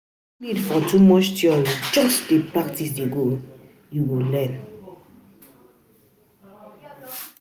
No need for um too much theory, just dey practice dey go um you um you go learn.